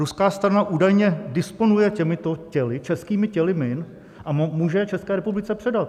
Ruská strana údajně disponuje těmito těly, českými těly min, a může je České republice předat.